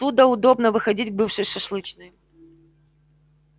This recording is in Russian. оттуда удобно выходить к бывшей шашлычной